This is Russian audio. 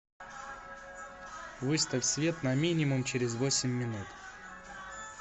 выставь свет на минимум через восемь минут